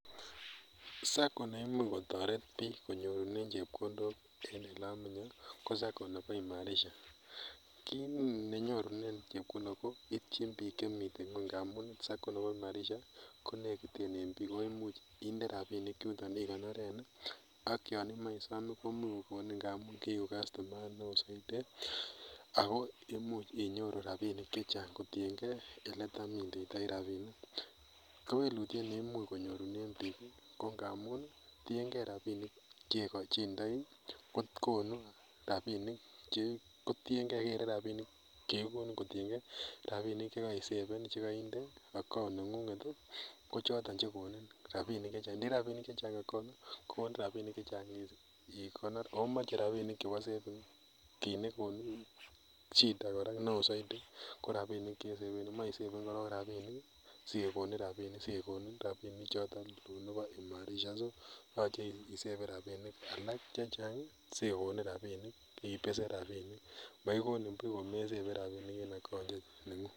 SACCOs koimuch kotoret biik konyorunen chepkondok en oleamenye ko SACCO ne bo IMARISHA, kit nenyorunen chepkondok ii koityin biik chemiten ngweny, ngamun SACCO ne bo imarisha konekiten en biik, ako imuch indee rapinik yundet ikonoren ii, ak yon imoe isom kokonin amun kiiku castomayat ne oo missing, ako imuch inyoru rapinik chechang kotiengee ele tam indeitoi rapinik, kewelutiet neimuch konyorunen temik ko ngamun tiengee rapinik chekochindoi kokonut rapinik kotiengee kere rapinik ii chekikonin kotiengee rapinik chekoisaven, chekoindet account neng'ung'et ii kochoton chekonin rapinik chechang, indoi rapinik chechang account kokonin rapinik chechang ikonor akomoche rapinik chebo saving kit nekonini shida neo saidi ko rapinik che saveni moe isaven korong rapinik sekekonin rapinik sekekonin rapinik choton tun nebo imarisha so yoche isaven rapinik alak chechang sikekonin rapinik ibesen rapinik mokikonin buch komesaven rapinik en account neng'ung.